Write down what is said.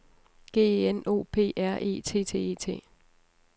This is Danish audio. G E N O P R E T T E T